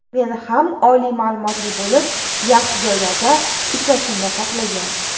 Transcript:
Meni ham oliy ma’lumotli bo‘lib, yaxshi joylarda ishlashimni xohlagan.